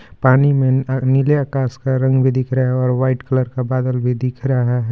पानी में आ नीले आकाश का रंग भी दिख रहा है और व्हाइट कलर का बादल भी दिख रहा है।